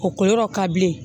O ko yɔrɔ ka bilen